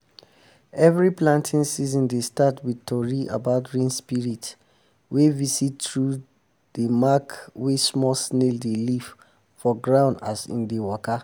every planting season dey start with tori about rain spirits wey visit through dey mark wey snail dey leave for ground as em dey waka